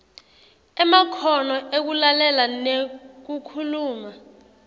emakhono ekulalela nekukhuluma